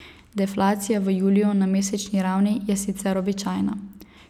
Deflacija v juliju na mesečni ravni je sicer običajna.